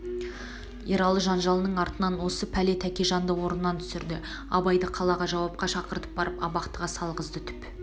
ералы жанжалының артынан осы пәле тәкежанды орнынан түсірді абайды қалаға жауапқа шақыртып барып абақтыға салғызды түп